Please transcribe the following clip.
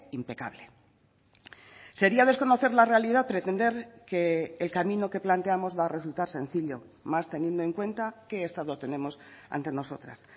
impecable sería desconocer la realidad pretender que el camino que planteamos va a resultar sencillo más teniendo en cuenta qué estado tenemos ante nosotras